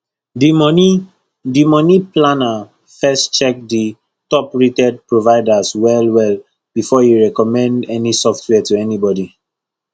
the money the money planner first check the toprated providers well well before e recommend any software to anybody